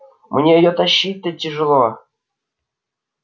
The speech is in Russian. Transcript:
мне её тащить-то тяжело